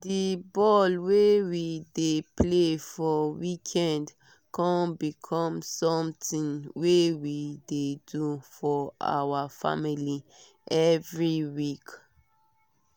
di ball wey we dey play for weekends con become something wey we dey do for our family every week